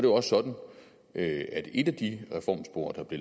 også sådan at et af de reformspor der blev